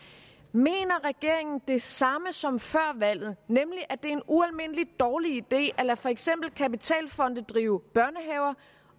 mener regeringen det samme som før valget nemlig at det er en ualmindelig dårlig idé at lade for eksempel kapitalfonde drive børnehaver